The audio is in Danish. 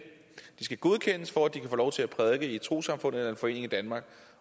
de skal godkendes for at de kan få lov til at prædike i et trossamfund eller en forening i danmark